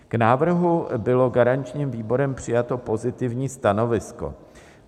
K návrhu bylo garančním výborem přijato pozitivní stanovisko.